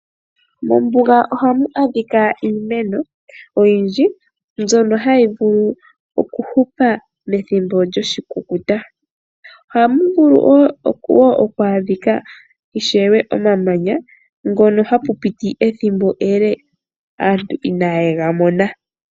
Mombuga ohamu adhika iimeno oyindji mbyono hayi vulu oku fupa methimbo lyoshikukuta. Ohamu vulu woo oku adhika omamanya ngono hapu piti ethimbo ele aantu inaye gamona.